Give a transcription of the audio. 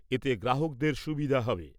এতে গ্রাহকদের সুবিধা হবে।